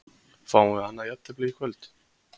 Fáum við annað jafntefli í kvöld?